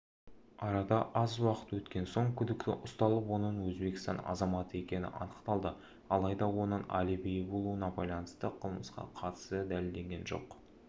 арада аз уақыт өткен соң күдікті ұсталып оның өзбекстан азаматы екені анықталды алайда оның алибиі болуына байланысты қылмысқа қатысы дәлелденген жоқ